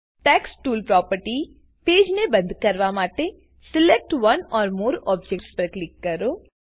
text tools property પેજને બંદ કરવા માટે select one or more objects પર ક્લિક કરો